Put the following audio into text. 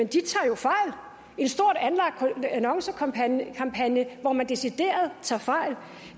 fejl en stort anlagt annoncekampagne hvor man decideret tager fejl